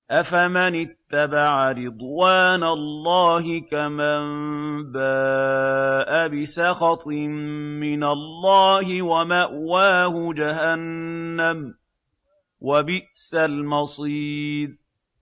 أَفَمَنِ اتَّبَعَ رِضْوَانَ اللَّهِ كَمَن بَاءَ بِسَخَطٍ مِّنَ اللَّهِ وَمَأْوَاهُ جَهَنَّمُ ۚ وَبِئْسَ الْمَصِيرُ